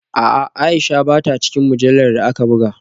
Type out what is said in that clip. A’a, Aisha ba ta cikin mujallar da aka buga